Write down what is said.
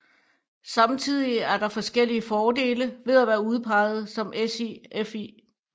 Samtidig er der forskellige fordele ved at være udpeget som SIFI